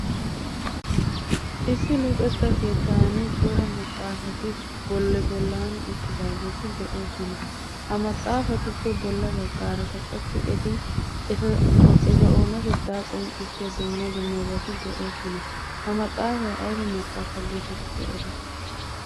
Issi luxetta keettan cora maxaafati bolli bollan uttidaageti de'oosona. Ha maxaafatuppe bolla baggaarakka qassi eti eta oonatettaa qonccissiya dumma dummabati de'oosona. Ha maxaafay ayba maxaafa geetettidi erettii?